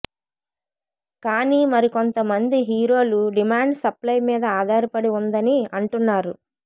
కానీ మరికొంత మంది హీరోలు డిమాండ్ సప్లయ్ మీద ఆధారపడి ఉందని అంటున్నారు